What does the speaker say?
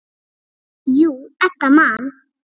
Jú, Edda man.